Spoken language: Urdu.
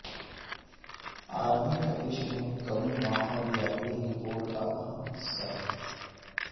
عالمی تپش میں کمی ماحولیاتی رپورٹ کا اہم حصہ